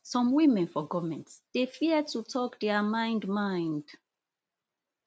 some women for goment dey fear to tok dia mind mind